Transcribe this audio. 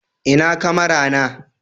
ina kamara na